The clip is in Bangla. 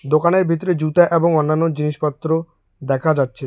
দোকানের ভিতরে জুতা এবং অন্যান্য জিনিসপত্র দেখা যাচ্ছে।